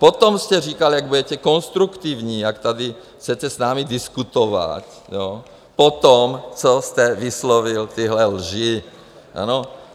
Potom jste říkal, jak budete konstruktivní, jak tady chcete s námi diskutovat, potom, co jste vyslovil tyhle lži, ano?